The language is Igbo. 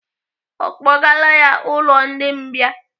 Ọ kpọgaala ya ụlọ ndi mbìa?